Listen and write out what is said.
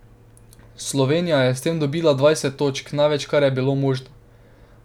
Slovenija je s tem dobila dvajset točk, največ, kar je bilo možno.